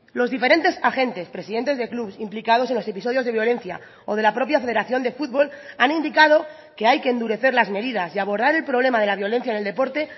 los diferentes agentes presidentes de clubs implicados en los episodios de violencia o de la propia federación de fútbol han indicado que hay que endurecer las medidas y abordar el problema de la violencia en el deporte